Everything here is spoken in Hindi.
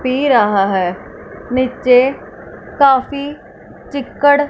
पी रहा है नीचे काफी चिक्कड़--